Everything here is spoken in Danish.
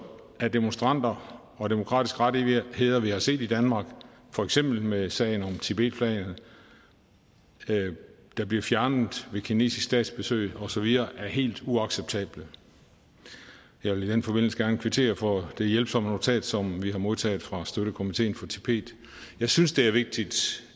af demonstranter og demokratiske rettigheder vi har set i danmark for eksempel sagen om tibetflaget der blev fjernet ved et kinesisk statsbesøg osv helt uacceptabel jeg vil i den forbindelse gerne kvittere for det hjælpsomme notat som vi har modtaget fra støttekomiteen for tibet jeg synes det er vigtigt